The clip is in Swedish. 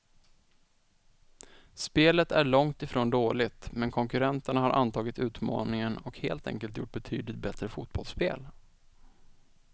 Spelet är långt ifrån dåligt, men konkurrenterna har antagit utmaningen och helt enkelt gjort betydligt bättre fotbollsspel.